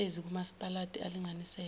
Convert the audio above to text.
namashezi kamasipalati alinganiselwe